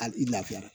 A i lafiyara